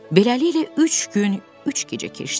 Beləliklə, üç gün, üç gecə keçdi.